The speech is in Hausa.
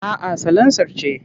A'a salansar ce.